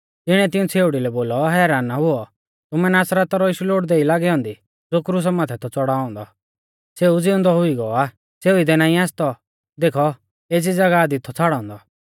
तिणिऐ तिऊं छ़ेउड़ी लै बोलौ हैरान ना हुऔ तुमै नासरता रौ यीशु लोड़दै ई लागी औन्दी ज़ो क्रुसा माथै थौ च़ौड़ाऔ औन्दौ सौ ज़िउंदौ हुई गौ आ सौ इदै नाईं आसतौ देखौ एज़ी ज़ागाह दी थौ छ़ाड़ौ औन्दौ